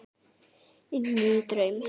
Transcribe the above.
Inní draum.